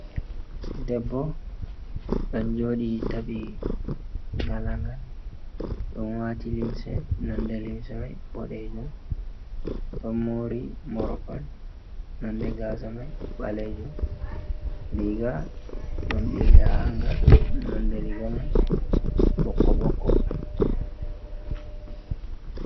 Debbo ɗon joɗi taɓi ngalangal dow wati limse nonde limse mai boɗejum, ɗo mori morkon nonde gasamai ɓalejum. riga ɗon ɓili ha hanga nonde riga man ɓokko-ɓokko.